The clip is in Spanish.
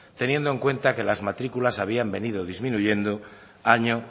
teniendo en cuenta que las matriculas habían venido disminuyendo año